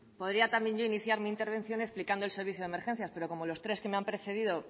podría yo también iniciar mi intervención explicando el servicio de emergencias pero como los tres que me han precedido